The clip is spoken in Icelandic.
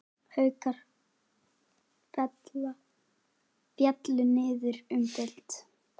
Haukar féllu niður um deild.